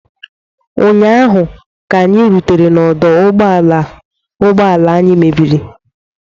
Ụnyaahụ, ka anyị rutere n'ọdụ ụgbọ ala ụgbọ ala anyị mebiri